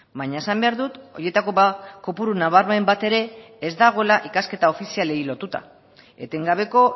baina esan behar dut horietako kopuru nabarmen bat ere ez dagoela ikasketa ofizialei lotuta etengabeko